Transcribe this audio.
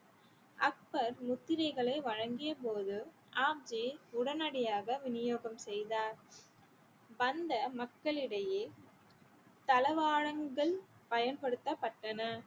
அக்பர் முத்திரைகளை வழங்கும்போது ஆப்ஜி உடனடியாக விநியோகம் செய்தார் வந்த மக்களிடையே தளவாழங்கள் பயன்படுத்தப்பட்டன